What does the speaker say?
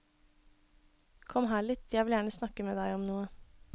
Kom her litt, jeg vil gjerne snakke med deg om noe.